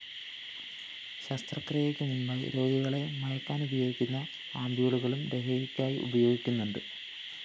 ശസ്ത്രക്രിയക്ക് മുന്‍പായി രോഗികളെ മയക്കാനുപയോഗിക്കുന്ന ആംപ്യൂളുകളും ലഹരിക്കായി ഉപയോഗിക്കുന്നുണ്ട്